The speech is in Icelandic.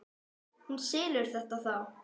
Þú selur þetta þá?